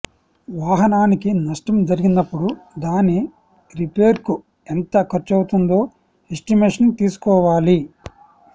వాహనానికి నష్టం జరిగినప్పుడు దాని రిపేర్కు ఎంత ఖర్చవుతుందో ఎస్టిమేషన్ తీసుకోవాలి